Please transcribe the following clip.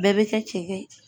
Bɛɛ bɛ kɛ cɛkɛ ye.